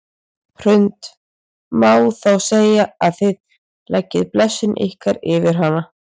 Hrund: Má þá segja að þið leggið blessun ykkar yfir hana?